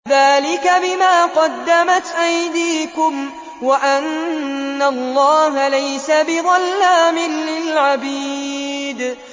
ذَٰلِكَ بِمَا قَدَّمَتْ أَيْدِيكُمْ وَأَنَّ اللَّهَ لَيْسَ بِظَلَّامٍ لِّلْعَبِيدِ